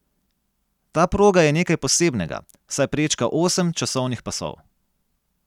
Ta proga je nekaj posebnega, saj prečka osem časovnih pasov.